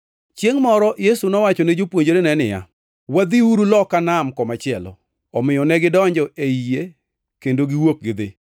Chiengʼ moro Yesu nowacho ne jopuonjrene niya, “Wadhiuru loka nam komachielo.” Omiyo negidonjo ei yie kendo giwuok gidhi.